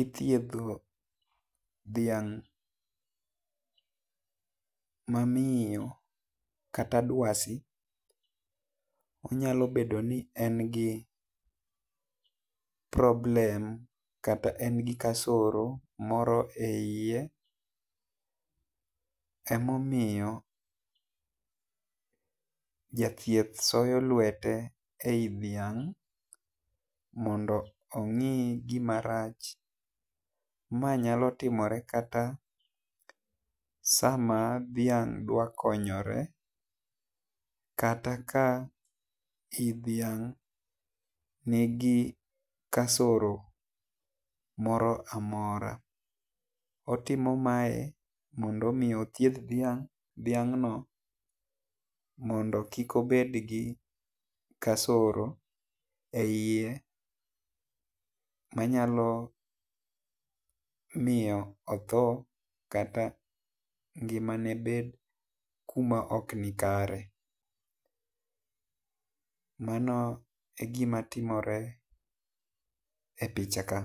ithietho dhiang mamiyo kata dwasi onyalo bedo ni en gi problem kata kosoro moro e iye emo miyo jathieth soyo lwete ei dhiang mondo ong'i gima rach, ma nyalo timore kata sama dhiang dwaro konyore kata ka i dhiang ni gi kasoro moro amora ,otimo mae mondo mi othieth dhiang diangno mondo kik obed gi kasoro e iye manyalo miyo otho kata ngimnane bed kuma ok nikare, mano e gima timore e picha ka